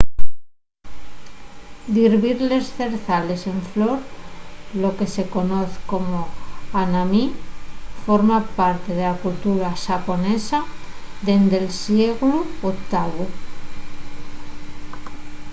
dir ver les zrezales en flor lo que se conoz como hanami forma parte de la cultura xaponesa dende’l sieglu octavu